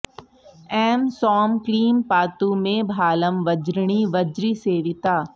ऐं सौंः क्लीं पातु मे भालं वज्रिणी वज्रिसेविता